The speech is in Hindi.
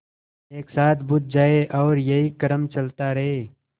एक साथ बुझ जाएँ और यही क्रम चलता रहे